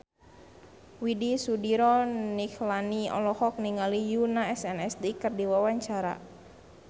Widy Soediro Nichlany olohok ningali Yoona SNSD keur diwawancara